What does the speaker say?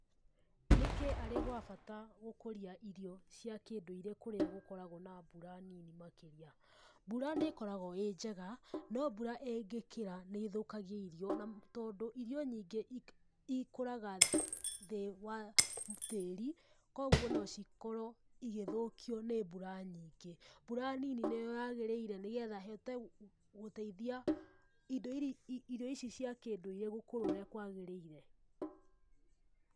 Nĩkĩ arĩ gwa bata gũkũria irio cĩa kĩndũire kũrĩa gũkoragwo na mbura nini makĩria? Mbura nĩkorogwo ĩnjega no mbura ĩngĩkĩra nĩthũkagia irio na tondũ irio nyingĩ ikũraga thĩ wa tĩĩri, koguo nocikorwo igĩthũkio nĩ mbura nyingĩ, mbura nini nĩyo yagĩrĩire nĩgetha hote gũteithia indo irio ici cia kĩũndũire gũkũra ũrĩa kwagĩrĩire.